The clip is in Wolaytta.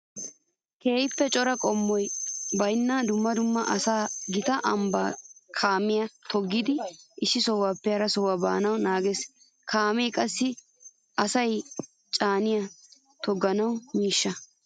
Keehippe cora qoodi baynna dumma dumma asay gita ambban kaamiya toggiddi issi sohuwappe harassa baanawu naages. Kaame qassi asa caaniya toga miishsha.